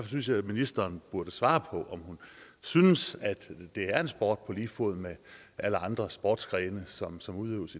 synes jeg ministeren burde svare på om hun synes at det er en sport på lige fod med alle andre sportsgrene som som udøves